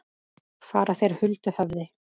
Fara þeir huldu höfði?